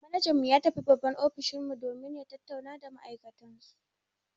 Manajan mu ya tafi babban ofishin mu domin ya tattauna da ma'aikatansu.